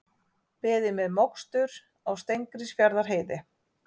Beðið með mokstur á Steingrímsfjarðarheiði